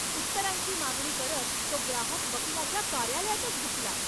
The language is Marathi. उत्तरांची मागणी करत तो ग्राहक वकिलाच्या कार्यालयातच घुसला!